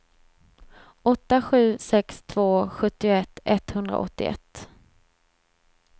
åtta sju sex två sjuttioett etthundraåttioett